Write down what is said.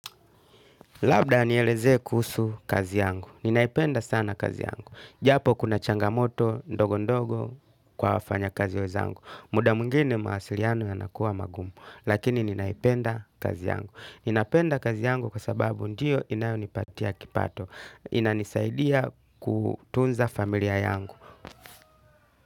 Labda nielezee kuhusu kazi yangu. Ninaipenda sana kazi yangu. Japo kuna changamoto ndogo ndogo kwa wafanya kazi wenzangu. Muda mwingine mawasiliano yanakuwa magumu. Lakini ninaipenda kazi yangu. Ninapenda kazi yangu kwa sababu ndiyo inayonipatia kipato. Inanisaidia kutunza familia yangu.